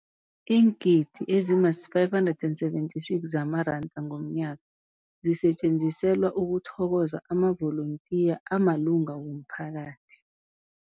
Iingidi ezima-576 zamaranda ngomnyaka zisetjenziselwa ukuthokoza amavolontiya amalunga womphakathi.